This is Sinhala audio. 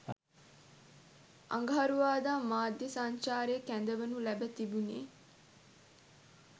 අඟහරුවාදා මාධ්‍ය සංචාරය කැඳවනු ලැබ තිබුණේ